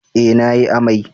Eh na yi amai